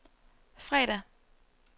fredag